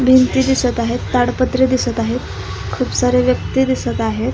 भिंती दिसत आहेत. ताडपत्री दिसत आहेत. खूप सारे व्यक्ति दिसत आहेत.